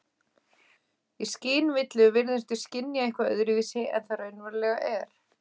Í skynvillu virðumst við skynja eitthvað öðruvísi en það raunverulega er.